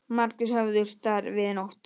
Margir höfðust þar við í nótt